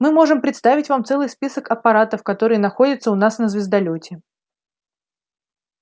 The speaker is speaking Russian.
мы можем представить вам целый список аппаратов которые находятся у нас на звездолёте